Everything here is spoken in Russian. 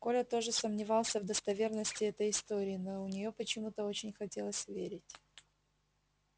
коля тоже сомневался в достоверности этой истории но в нее почему то очень хотелось верить